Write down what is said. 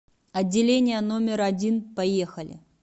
отделение номер один поехали